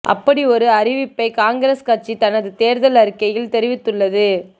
அப்படி ஒரு அறிவிப்பை காங்கிரஸ் கட்சி தனது தேர்தல் அறிக்கையில் தெரிவித்துள்ளது